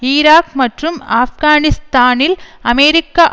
Iraq மற்றும் ஆப்கானிஸ்தானில் அமெரிக்க